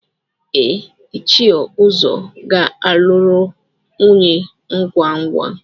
Ee, Ichie Uzo ga-alụrụ nwunye ngwa ngwa.